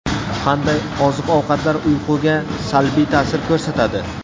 Qanday oziq-ovqatlar uyquga salbiy ta’sir ko‘rsatadi?.